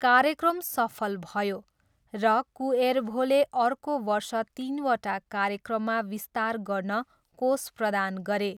कार्यक्रम सफल भयो र कुएर्भोले अर्को वर्ष तिनवटा कार्यक्रममा विस्तार गर्न कोष प्रदान गरे।